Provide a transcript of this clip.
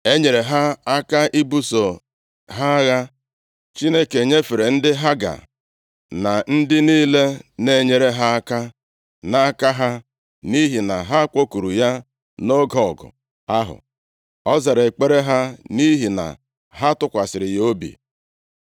E nyeere ha aka ibuso ha agha, Chineke nyefere ndị Haga na ndị niile na-enyere ha aka nʼaka ha, nʼihi na ha kpọkuru ya nʼoge ọgụ ahụ. Ọ zara ekpere ha nʼihi na ha tụkwasịrị ya obi.